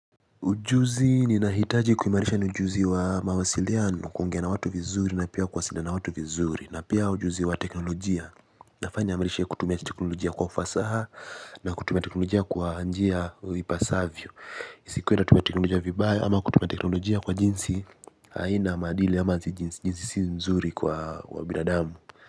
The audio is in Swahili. Ujuzi ninahitaji kuimarisha ni ujuzi wa mawasiliano kuongea na watu vizuri na pia kuwasaidia na watu vizuri na pia ujuzi wa teknolojia. Nafanya imarisha kutumia teknolojia kwa ufasaha na kutumia teknolojia kwa njia vipasavyo. Isikue natumia teknolojia vibaya ama kutumia teknolojia kwa jinsi haina maadili ama jinsi si nzuri kwa binadamu.